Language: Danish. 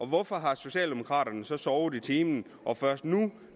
hvorfor har socialdemokraterne så sovet i timen og først nu